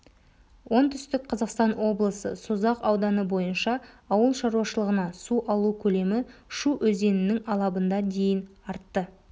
оңтүстік қазақстан облысы созақ ауданы бойынша ауыл шаруашылығына су алу көлемі шу өзенінің алабында дейін артты